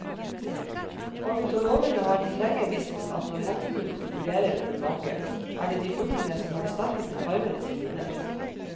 Ornitologene har lenge visst at når hannfuglene konkurrerer om en make, er det de fuglene som har de sterkeste farvene som vinner.